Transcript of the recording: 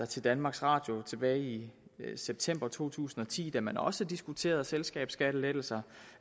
til danmarks radio tilbage i september to tusind og ti om selskabsskatten da man også diskuterede selskabsskattelettelser